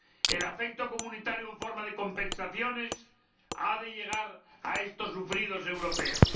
El afecto comunitario en forma de compensaciones ha de llegar a estos sufridos europeos.